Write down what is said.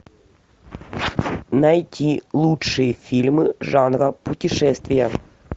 найти лучшие фильмы жанра путешествия